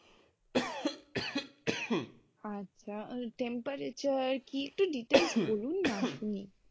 আচ্ছা temperature কী একটু details বলুননা শুনি।